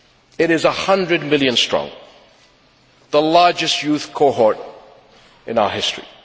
It is 100 million strong, the largest youth cohort in our history.